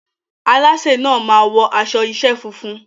Alásè náà máa wọ aṣọ iṣẹ́ funfun.